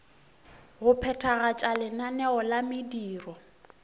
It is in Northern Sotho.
go phethagatša lenaneo la mediro